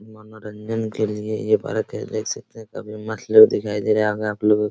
मनोरंजन के लिए देख सकते हैं काफी मस्त लुक दिखाई दे रहा होगा आप लोगों को।